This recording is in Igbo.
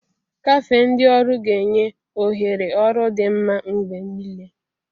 Kafé ndị ọrụ ga-enye ohere ọrụ dị mma mgbe niile.